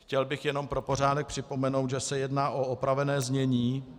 Chtěl bych jenom pro pořádek připomenout, že se jedná o opravené znění.